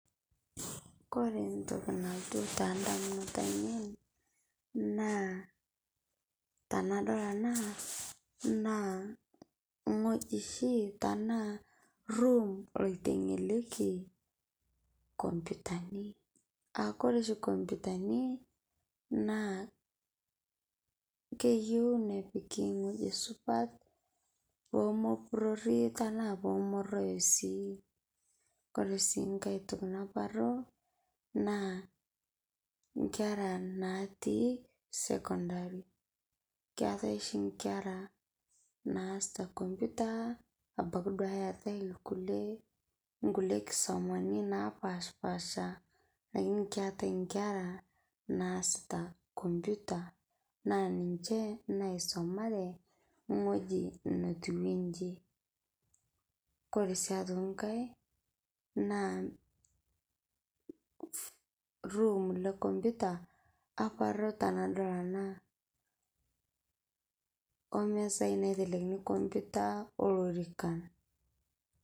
Kore ntokii nalotuu ta damunot anien naa tanadol ana naa ng'oji shii tana room oiteng'eleki kompyutani. Aa kore sii kompyutani naa keiyeu nepiiki ng'oji supat poo mopurori tana poo moroyoo sii. Kore sii nkaai naparuu naa nkeera natii sekondarii. Keetai shii nkeera naaesita nkomputa abaki duake eetai lkulee nkulee nkisomani naapashpasha , lakini keetai nkeera naasita kompyuta naa ninchee naisomare ng'ojii naituwejii. Kore sii aitokii nkaai naa room le kompyuta aparuu tanadol ana omesai naitelekini kompyuta olorikaan.